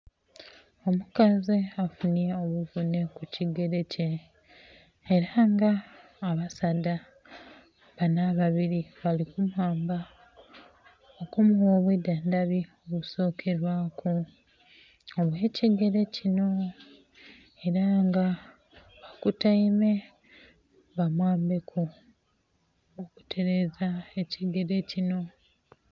Omukazi afunhye obuvunhe ku kigere kye era nga abasaadha banho ababiri bali kumwamba okumugha obwi dhandhabi obusokelwaku obwe kigere kinho era nga akutaime ba mwambeku okuteleza ekigere kinho.